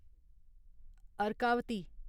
Arkavati